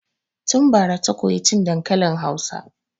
Tun bara ta koyi cin dankalin Hausa.